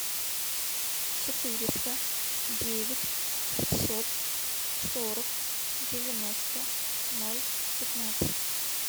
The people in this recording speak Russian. четыреста девять шестьсот сорок девяносто ноль пятнадцать